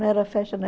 Não era festa